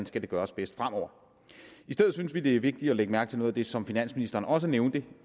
skal gøres bedst fremover i stedet synes vi det er vigtigt at lægge mærke til noget af det som finansministeren også nævnte